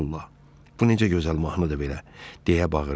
Aman Allah, bu necə gözəl mahnıdı belə, deyə bağırdı.